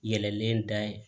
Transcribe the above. Yɛlɛlen da